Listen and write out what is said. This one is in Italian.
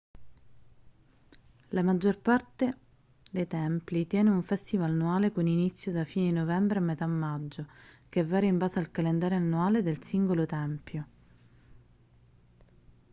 la maggior parte dei templi tiene un festival annuale con inizio da fine di novembre a metà maggio che varia in base al calendario annuale del singolo tempio